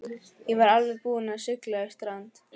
Ég var alveg búinn að sigla í strand.